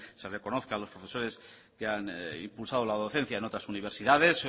se reconozca a los profesores que han impulsado la docencia en otras universidades